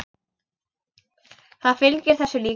Það fylgir þessu líka.